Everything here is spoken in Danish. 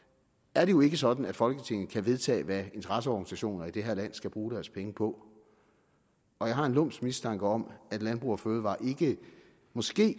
er det jo ikke sådan at folketinget kan vedtage hvad interesseorganisationer i det her land skal bruge deres penge på og jeg har en lumsk mistanke om at landbrug fødevarer måske